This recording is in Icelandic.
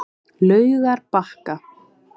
Laugarbakka